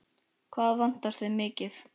Hvað vantar þig mikið?